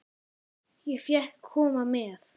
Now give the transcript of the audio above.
Ég fékk að koma með.